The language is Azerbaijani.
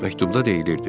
Məktubda deyilirdi: